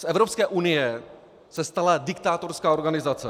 Z Evropské unie se stala diktátorská organizace.